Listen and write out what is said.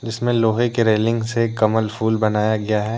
इसमें लोहे की रेलिंग से कमल फूल बनाया गया है।